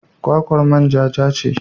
Kwakwar manja ja ce.